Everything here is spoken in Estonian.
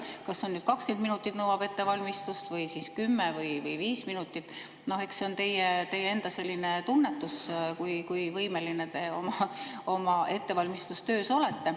Kas see nüüd 20 minutit nõuab ettevalmistust või siis 10 või 5 minutit, noh, eks see on teie enda tunnetus, kui võimeline te oma ettevalmistustöös olete.